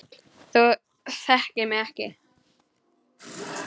Þú þekktir mig ekki.